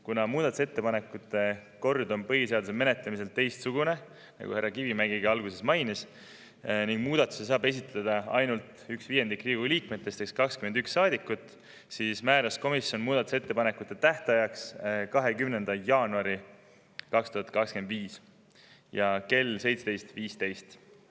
Kuna muudatusettepanekute kord on põhiseaduse menetlemisel teistsugune – seda mainis alguses ka härra Kivimägi – ning muudatus saab esitada üks viiendik Riigikogu liikmetest ehk 21 saadikut, siis määras komisjon muudatusettepanekute tähtajaks 20. jaanuari 2025 kell 17.15.